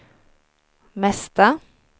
mesta